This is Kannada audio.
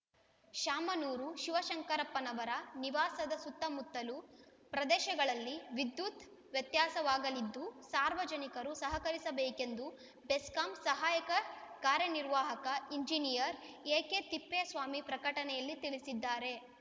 ಶಾಮನೂರು ಶಿವಶಂಕರಪ್ಪನವರ ನಿವಾಸದ ಸುತ್ತಮುತ್ತಲ ಪ್ರದೇಶಗಳಲ್ಲಿ ವಿದ್ಯುತ್‌ ವ್ಯತ್ಯಸಾವಾಗಲಿದ್ದು ಸಾರ್ವಜನಿಕರು ಸಹಕರಿಸಬೇಕೆಂದು ಬೆಸ್ಕಾಂ ಸಹಾಯಕ ಕಾರ್ಯ ನಿರ್ವಾಹಕ ಇಂಜಿನಿಯರ್‌ ಎಕೆ ತಿಪ್ಪೇಸ್ವಾಮಿ ಪ್ರಕಟಣೆಯಲ್ಲಿ ತಿಳಿಸಿದ್ದಾರೆ